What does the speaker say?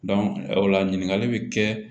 o la ɲininkali bɛ kɛ